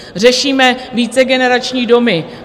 Řešíme vícegenerační domy.